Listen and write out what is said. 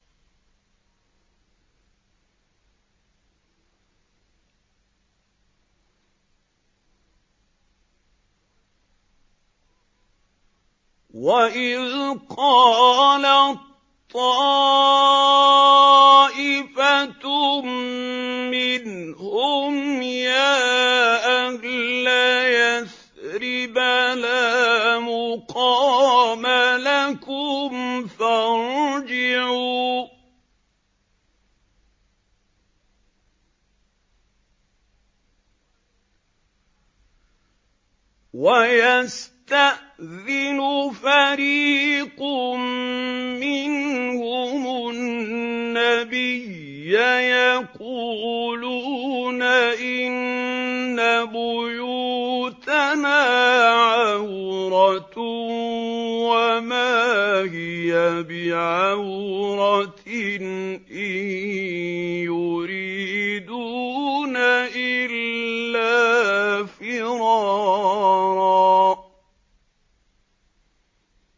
وَإِذْ قَالَت طَّائِفَةٌ مِّنْهُمْ يَا أَهْلَ يَثْرِبَ لَا مُقَامَ لَكُمْ فَارْجِعُوا ۚ وَيَسْتَأْذِنُ فَرِيقٌ مِّنْهُمُ النَّبِيَّ يَقُولُونَ إِنَّ بُيُوتَنَا عَوْرَةٌ وَمَا هِيَ بِعَوْرَةٍ ۖ إِن يُرِيدُونَ إِلَّا فِرَارًا